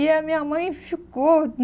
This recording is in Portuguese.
E a minha mãe ficou.